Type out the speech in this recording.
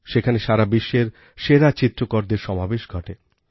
সেখানে সারা বিশ্বের সেরা চিত্রকরদের সমাবেশ ঘটে